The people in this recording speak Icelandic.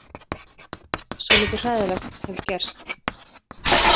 Svolítið hræðilegt hefur gerst.